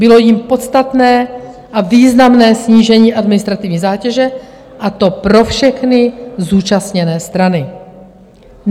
Bylo jím podstatné a významné snížení administrativní zátěže, a to pro všechny zúčastněné strany.